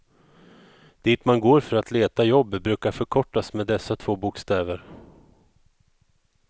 Dit man går för att leta jobb brukar förkortas med dessa två bokstäver.